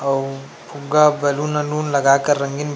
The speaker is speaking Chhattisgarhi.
अउ फुग्गा बैलून वैलून लगा कर रंगीन--